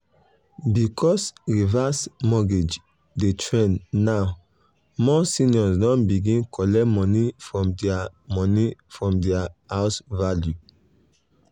because reverse mortgage dey trend um now more seniors don begin collect money from their money from their house value.